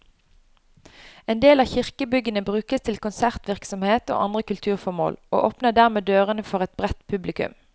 En del av kirkebyggene brukes til konsertvirksomhet og andre kulturformål, og åpner dermed dørene for et bredt publikum.